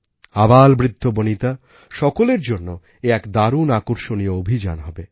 আবালবৃদ্ধবনিতা সকলের জন্য এ এক দারুণ আকর্ষণীয় অভিযান হবে